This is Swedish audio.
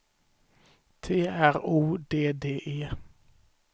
T R O D D E